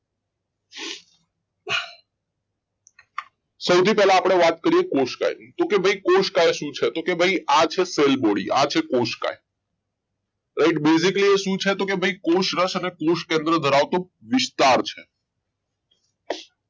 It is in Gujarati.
સૌથી પહેલા આપણે વાત કરીએ કોષકાયની તો કે ભાઈ કોષ કઈ શું છે તો કે ભાઈ આજે cell body આ છે કોશકાય right basically એ શું છે કોષરસ અને કોષકેન્દ્ર ધરાવતું વિસ્તાર છે